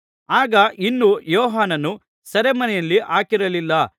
ಆಗ ಇನ್ನೂ ಯೋಹಾನನ್ನು ಸೆರೆಮನೆಯಲ್ಲಿ ಹಾಕಿರಲಿಲ್ಲ